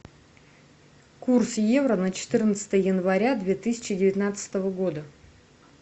курс евро на четырнадцатое января две тысячи девятнадцатого года